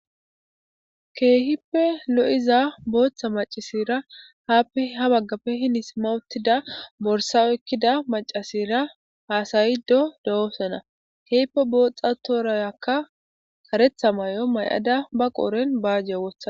keehippe lo7iza booththa macasera haappe ha baggappe hini simma uuttida borsa oykkida macasera haasayido de7oosana.keehippe booxxa toorayakka karetha maayo may7ada ba qooren baajje wotha